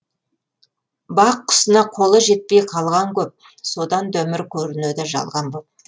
бақ құсына қолы жетпей қалған көп содан да өмір көрінеді жалған боп